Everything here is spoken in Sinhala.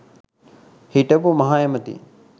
හිටපු මහ ඇමති